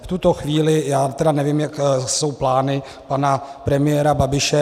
V tuto chvíli já tedy nevím, jaké jsou plány pana premiéra Babiše.